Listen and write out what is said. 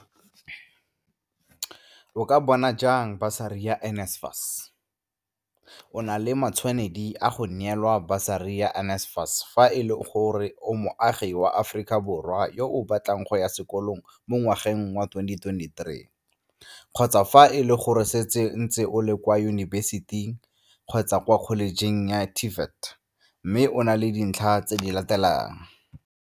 O ka bona jang Basari ya NSFAS?O na le matshwanedi a go neelwa basari ya NSFAS fa e le gore o moagi wa Aforika Borwa yo a batlang go ya sekolong mo ngwageng wa 2023 kgotsa fa e le gore o setse o ntse o le kwa yunibesiting kgotsa kwa kholejeng ya TVET mme o na le dintlha tse di latelang.